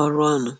ọrụ ọnụ?